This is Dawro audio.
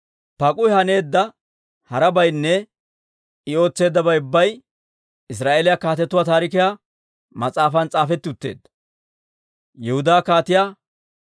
Paak'uhi haneedda harabaynne I ootseeddabay ubbay Israa'eeliyaa Kaatetuu Taarikiyaa mas'aafan s'aafetti utteedda.